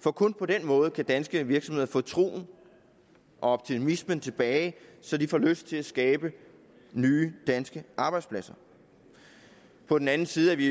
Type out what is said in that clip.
for kun på den måde kan danske virksomheder få troen og optimismen tilbage så de får lyst til at skabe nye danske arbejdspladser på den anden side er vi